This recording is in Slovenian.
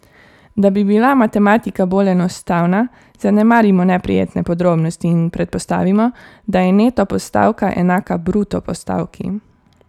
Da bi bila matematika bolj enostavna, zanemarimo neprijetne podrobnosti in predpostavimo, da je neto postavka enaka bruto postavki.